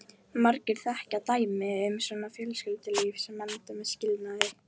Margir þekkja dæmi um svona fjölskyldulíf sem enda með skilnaði.